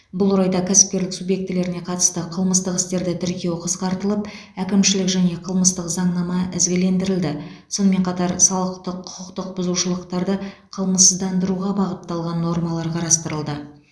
бұл орайда кәсіпкерлік субъектілеріне қатысты қылмыстық істерді тіркеу қысқартылып әкімшілік және қылмыстық заңнама ізгілендірілді сонымен қатар салықтық құқықтық бұзушылықтарды қылмыссыздандыруға бағытталған нормалар қарастырылды